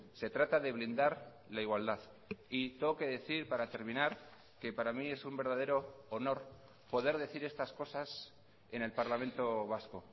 se trata de blindar la igualdad y tengo que decir para terminar que para mí es un verdadero honor poder decir estas cosas en el parlamento vasco